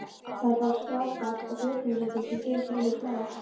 Það eru bara skátar og björgunarsveitir sem gera svoleiðis lagað